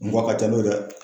N ko a ka ca n'o ye dɛ!